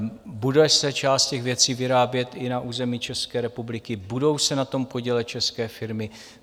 Bude se část těch věcí vyrábět i na území České republiky, budou se na tom podílet české firmy.